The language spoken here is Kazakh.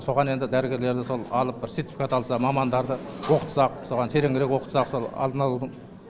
соған енді дәрігерлерді сол алып бір сертификат алса мамандарды оқытсақ соған тереңірек оқытсақ сол алдын алудың